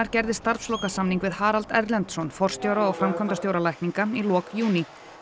gerði starfslokasamning við Harald Erlendsson forstjóra og framkvæmdastjóra lækninga í lok júní